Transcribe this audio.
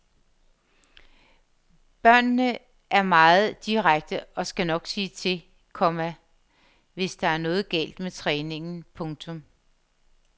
Børnene er meget direkte og skal nok sige til, komma hvis der er noget galt med træningen. punktum